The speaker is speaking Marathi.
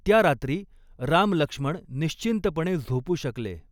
त्या रात्री रामलक्ष्मण निश्चिंतपणे झोपू शकले.